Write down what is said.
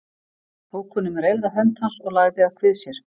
Tók hún um reyrða hönd hans og lagði að kvið sér.